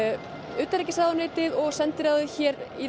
utanríkisráðuneytið og sendiráðið hér í